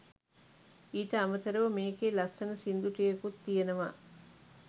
ඊට අමතරව මේකේ ලස්සන සින්දු ටිකකුත් තියනවා